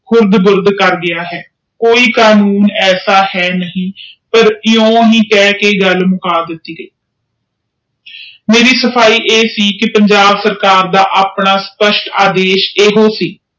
ਉਰਦੂ ਗੁਰਡ ਕਰ ਡਾ ਹੈ ਕੋਈ ਕਾਨੂੰਨ ਹਿਓਹਜਾ ਹੈ ਕਿਉ ਕਹਿ ਕ ਗੱਲ ਮੁਕਾ ਦਿਤੀ ਗਯੀ ਮੇਰੀ ਸਫਾਈ ਇਹ ਸੀ ਕਿ ਪੰਜਾਬ ਸਰਕਾਰ ਦਾ ਆਪਣਾ ਸਪਸ਼ਟ ਇਹੋ ਸੀ